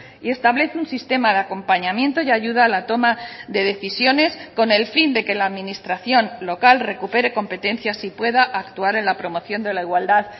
y establece un sistema de acompañamiento y ayuda a la toma de decisiones con el fin de que la administración local recupere competencias y pueda actuar en la promoción de la igualdad